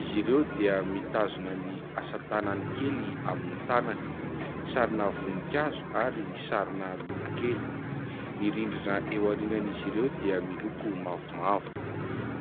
Izy ireo dia mitazona ny asa tanany kely amin'ny tanany. Sarina voninkazo ary sarina lolo kely. Ny rindrina eo aorian'izy ireo dia miloko mavomavo.